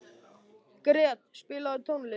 Gret, spilaðu tónlist.